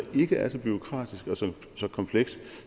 ikke er så bureaukratisk og så komplekst